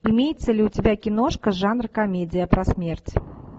имеется ли у тебя киношка жанр комедия про смерть